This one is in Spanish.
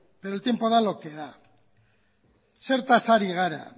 pero el tiempo da lo que da zertaz ari gara